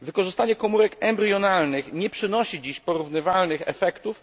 Wykorzystanie komórek embrionalnych nie przynosi dziś porównywalnych efektów.